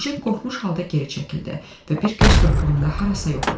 Mujik qorxmuş halda geri çəkildi və bir göz qırpığında harasa yox oldu.